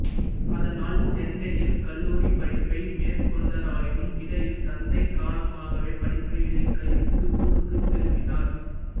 அதனால் சென்னையில் கல்லூரிப் படிப்பை மேற்கொண்டாராயினும் இடையில் தந்தை காலமாகவே படிப்பை இடையில் கைவிட்டு ஊருக்கு திரும்பினார்